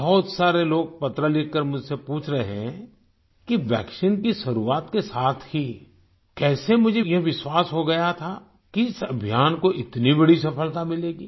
बहुत सारे लोग पत्र लिखकर मुझसे पूछ रहे हैं कि वैक्सीन की शुरुआत के साथ ही कैसे मुझे यह विश्वास हो गया था कि इस अभियान को इतनी बड़ी सफलता मिलेगी